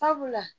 Sabula